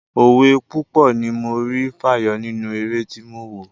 Òwe púpọ̀ ni mo rí fàyọ nínú eré tí mo wò.